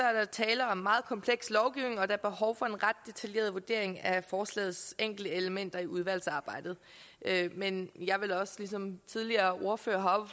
er tale om meget kompleks lovgivning og der er behov for en ret detaljeret vurdering af forslagets enkelte elementer i udvalgsarbejdet men jeg vil også ligesom tidligere ordførere